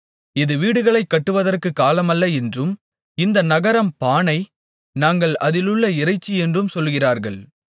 இது வீடுகளைக் கட்டுவதற்குக் காலமல்ல என்றும் இந்த நகரம் பானை நாங்கள் அதிலுள்ள இறைச்சியென்றும் சொல்லுகிறார்கள்